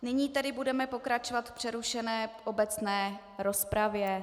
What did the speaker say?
Nyní tedy budeme pokračovat v přerušené obecné rozpravě.